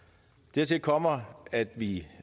dertil kommer at vi